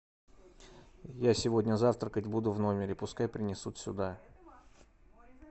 я сегодня завтракать буду в номере пускай принесут сюда